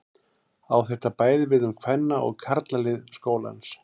Á þetta bæði við um kvenna- og karlalið skólans.